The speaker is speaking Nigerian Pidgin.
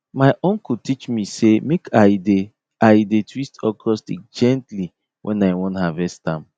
my uncle teach me say make i dey i dey twist okro stick gently when i wan harvest am